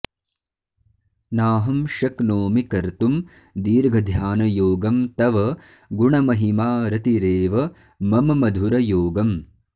नाहं शक्नोमि कर्तुं दीर्घ ध्यानयोगं तव गुणमहिमारतिरेव मम मधुरयोगम्